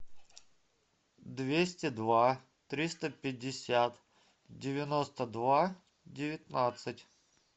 двести два триста пятьдесят девяносто два девятнадцать